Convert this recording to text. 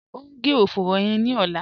O ń gé ọ̀fùró yẹn ni ọ̀lá